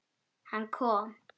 Hann kom.